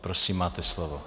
Prosím, máte slovo.